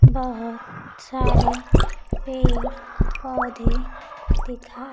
बहुत सारे पेड़ पौधे दिखा--